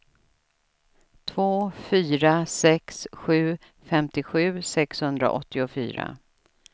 två fyra sex sju femtiosju sexhundraåttiofyra